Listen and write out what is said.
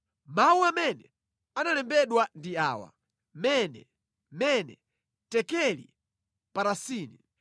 “Mawu amene analembedwa ndi awa: MENE, MENE, TEKELI, PARASINI.